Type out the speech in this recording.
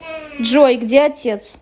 джой где отец